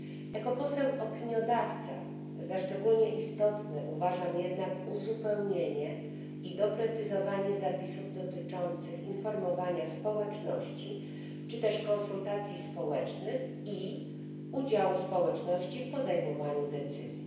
Jako poseł opiniodawca za szczególnie istotne uważam jednak uzupełnienie i doprecyzowanie zapisów dotyczących informowania społeczności czy też konsultacji społecznych i udziału społeczności w podejmowaniu decyzji.